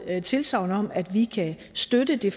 tilsagn om at vi kan støtte det